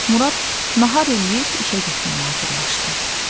Murad nahar eləyib işə getməyə hazırlaşdı.